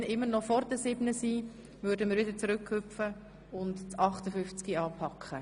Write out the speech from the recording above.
Wenn wir dann noch Zeit haben, gehen wir zu Traktandum 58 zurück.